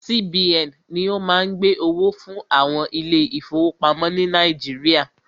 CBN ni o má ń gbẹ́ owó fún àwọn ilé ìfọwọ́pamo ni Nàíjíríà.